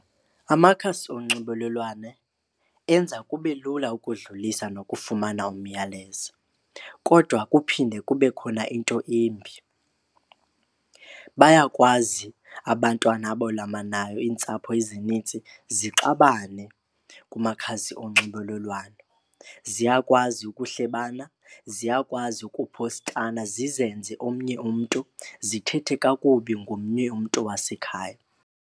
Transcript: Amakhasi onxibelelwano enza kube lula ukudlulisa nokufumana umyalezo kodwa kuphinde kube khona into embi. Bayakwazi abantwana abalamanayo iintsapho ezinintsi zixabane kumakhasi onxibelelwano. Ziyakwazi ukuhlebana, ziyakwazi ukuphostana, zizenze omnye umntu zithethe kakubi ngomnye umntu wasekhaya.